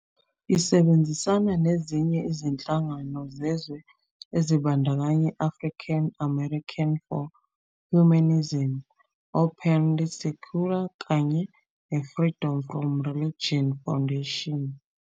Isebenzisana nezinye izinhlangano zezwe ezibandakanya i- African American for Humanism, Openly Secular kanye neFreedom From Religion Foundation.